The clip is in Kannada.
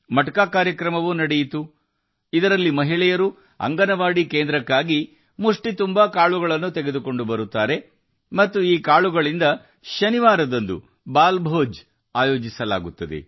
ಮಟ್ಕಾ ಕಾರ್ಯಕ್ರಮವೂ ನಡೆದಿದ್ದು ಅಂಗನವಾಡಿ ಕೇಂದ್ರಕ್ಕೆ ಮಹಿಳೆಯರು ಹಿಡಿ ಧಾನ್ಯಗಳನ್ನು ತಂದು ಈ ಧಾನ್ಯದೊಂದಿಗೆ ಶನಿವಾರಗಳಂದು ಬಾಲಭೋಜನ ಏರ್ಪಡಿಸಲಾಗಿದೆ